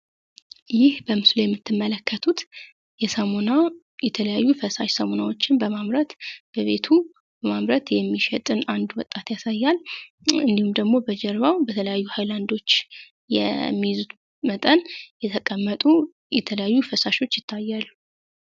ይህ በምስሉ የምትመለከቱት የሳሞና የተለያዩ ፈሳሽ ሳሞናዎችን በማምረት በቤቱ በማምረት የሚሸጥን 1 ወጣት ያሳያል። እንዲሁም ደግሞ በጀርባው በተለያዩ ሃይላንዶች የሚይዙት መጠን የተቀመጡ የተለያዩ ፈሳሾች ይታያሉ።